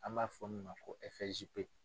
An b'a fɔ min ma ko FSJP.